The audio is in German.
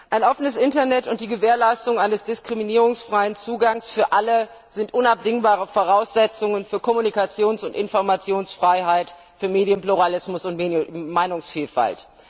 Ein offenes Internet und die Gewährleistung eines diskriminierungsfreien Zugangs für alle sind unabdingbare Voraussetzungen für Kommunikations und Informationsfreiheit, für Medienpluralismus und Meinungsvielfalt.